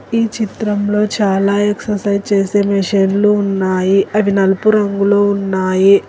ఈ చిత్రంలో చాలా ఎక్ససైజ్ చేసే మెషిన్లు ఉన్నాయి అవి నలుపు రంగులో ఉన్నాయి.